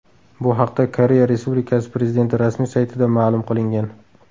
Bu haqda Koreya Respublikasi Prezidenti rasmiy saytida ma’lum qilingan .